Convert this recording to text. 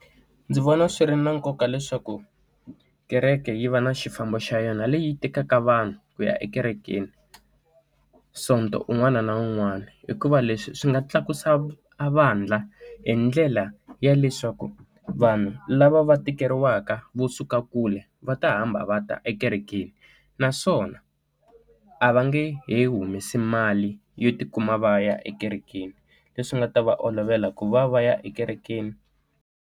Ndzi vona swi ri na nkoka leswaku kereke yi va na xifambo xa yona leyi yi tekaka vanhu ku ya ekerekeni, Sonto un'wana na un'wana. Hikuva leswi swi nga tlakusa a vandla hi ndlela ya leswaku vanhu lava va tikeriwaka vo suka kule, va ta hamba va ta ekerekeni. Naswona a va nge he humesi mali yo ti kuma va ya ekerekeni, leswi nga ta va olovela ku va va ya ekerekeni.